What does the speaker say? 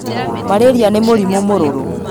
Mararia nĩ mũrimũmũrũrũ